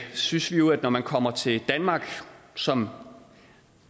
synes vi jo at når man kommer til danmark som